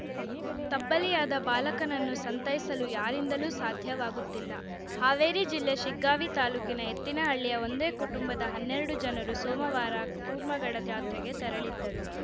ತಬ್ಬಲಿಯಾದ ಬಾಲಕನನ್ನು ಸಂತೈಸಲು ಯಾರಿಂದಲೂ ಸಾಧ್ಯವಾಗುತ್ತಿಲ್ಲ ಹಾವೇರಿ ಜಿಲ್ಲೆ ಶಿಗ್ಗಾವಿ ತಾಲೂಕಿನ ಎತ್ತಿನಹಳ್ಳಿಯ ಒಂದೇ ಕುಟುಂಬದ ಹನ್ನೆರಡು ಜನರು ಸೋಮವಾರ ಕೂರ್ಮಗಡ ಜಾತ್ರೆಗೆ ತೆರಳಿದ್ದರು